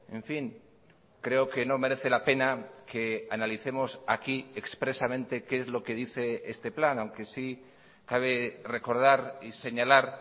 en fin creo que no merece la pena que analicemos aquí expresamente qué es lo que dice este plan aunque sí cabe recordar y señalar